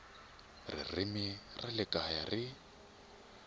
ririmi ra le kaya ri